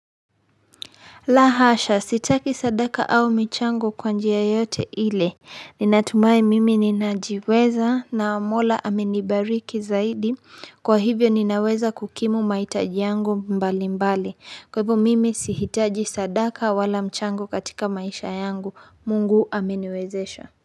La hasha, sitaki sadaka au michango kwa njia yoyote ile. Ninatumai mimi ninajiweza na Mola amenibariki zaidi. Kwa hivyo ninaweza kukimu mahitaji yangu mbalimbali. Kwa hivyo mimi sihitaji sadaka wala mchango katika maisha yangu. Mungu ameniwezesha.